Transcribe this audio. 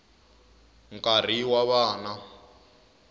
nkarhi wa vana